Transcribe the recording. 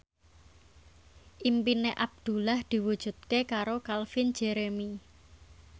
impine Abdullah diwujudke karo Calvin Jeremy